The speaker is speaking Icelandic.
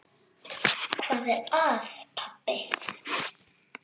Hvað er að, pabbi?